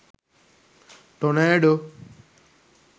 tonado